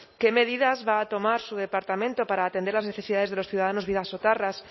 qué medidas va a tomar su departamento para atender las necesidades de los ciudadanos bidasotarras